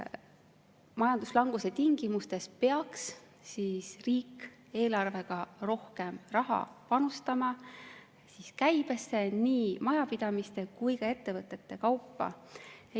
Majanduslanguse tingimustes peaks riik eelarvega rohkem raha panustama käibesse nii majapidamiste kui ka ettevõtete kaupa.